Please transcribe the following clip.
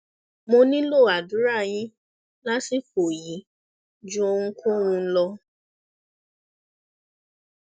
mo nílò àdúrà yín lásìkò yìí ju ohunkóhun lọ